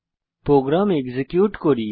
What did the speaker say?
programme execute করি